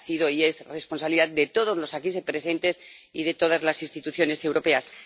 Ha sido y es responsabilidad de todos los aquí presentes y de todas las instituciones europeas.